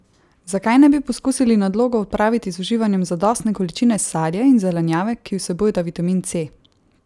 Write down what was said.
Zakaj ne bi poskusili nadlogo odpraviti z uživanjem zadostne količine sadja in zelenjave, ki vsebujeta vitamin C?